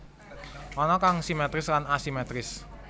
Ana kang simétris lan asimétris